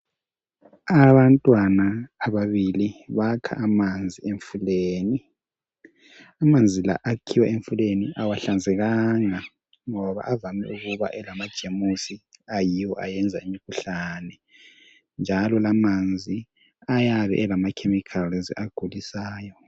Abantwana ababili bakha amanzi emfuleni amanzi la akhiwa emfuleni awahlanzekanga ngoba avame ukuba elama jemusi ayiwo ayenza imikhuhlane njalo lamanzi ayabe elama chemicals agulisayo